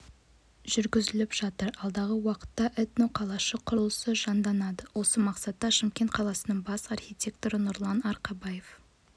жүргізіліп жатыр алдағы уақытта этноқалышық құрылысы жанданады осы мақсатта шымкент қаласының бас архитекторы нұрлан арқабаев